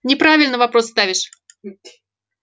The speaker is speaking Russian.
неправильно вопрос ставишь